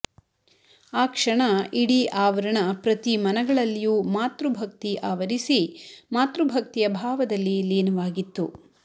ಆ ಕ್ಷಣ ಇಡೀ ಆವರಣ ಪ್ರತಿ ಮನಗಳಲ್ಲಿಯೂ ಮಾತೃ ಭಕ್ತಿ ಆವರಿಸಿ ಮಾತೃ ಭಕ್ತಿಯ ಭಾವದಲ್ಲಿ ಲೀನವಾಗಿತ್ತು